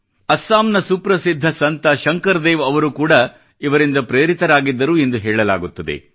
ಅಸ್ಸಾಂನ ಸುಪ್ರಸಿದ್ಧ ಸಂತ ಶಂಕರ್ ದೇವ್ ಅವರೂ ಕೂಡಾ ಇವರಿಂದ ಪ್ರೇರಿತರಾಗಿದ್ದರು ಎಂದು ಹೇಳಲಾಗುತ್ತದೆ